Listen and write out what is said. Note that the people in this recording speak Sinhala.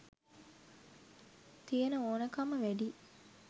තියෙන ඕනකම වැඩියි.